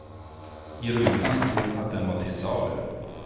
I rutan stod att den var till salu.